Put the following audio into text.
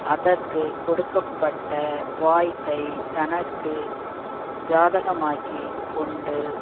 அதற்கு கொடுக்க பட்ட வாய்ப்பை தனக்கு ஜாதகமாக்கிக் கொண்டு